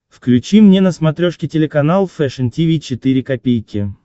включи мне на смотрешке телеканал фэшн ти ви четыре ка